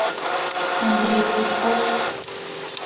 андрей цветков